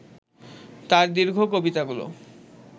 তার দীর্ঘ কবিতাগুলো